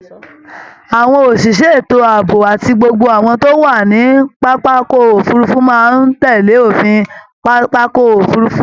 Âwọn òsìsẹ́ ètò ààbò àti gbogbo àwọn tó wà ní pápákọ̀ òfurufú máa ń tẹ̀lé òfin pápákọ̀ òfurufú